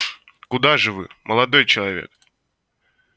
куда же вы молодой человек